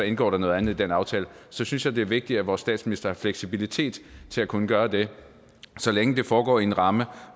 indgår noget andet i den aftale så synes jeg det er vigtigt at vores statsminister har fleksibilitet til at kunne gøre det så længe det foregår i en ramme